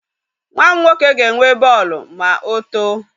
Nwa m nwoke ga-enwe bọọlụ ma otoo.